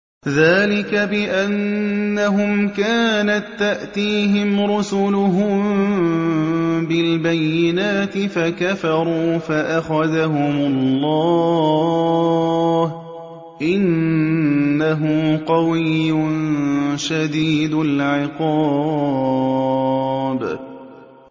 ذَٰلِكَ بِأَنَّهُمْ كَانَت تَّأْتِيهِمْ رُسُلُهُم بِالْبَيِّنَاتِ فَكَفَرُوا فَأَخَذَهُمُ اللَّهُ ۚ إِنَّهُ قَوِيٌّ شَدِيدُ الْعِقَابِ